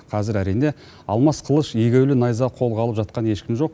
қазір әрине алмас қылыш егеулі найза қолға алып жатқан ешкім жоқ